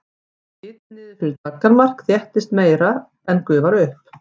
fari hiti niður fyrir daggarmark þéttist meira en gufar upp